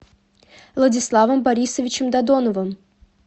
владиславом борисовичем додоновым